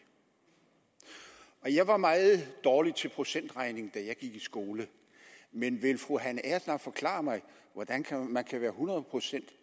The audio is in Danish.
jeg var meget dårlig til procentregning da jeg gik i skole men vil fru hanne agersnap forklare mig hvordan man kan være hundrede procent